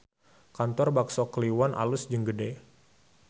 Kantor Bakso Kliwon alus jeung gede